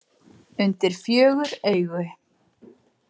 Undir fjögur augu.